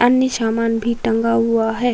अन्य सामान भी टंगा हुआ है।